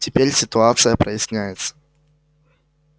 теперь ситуация проясняется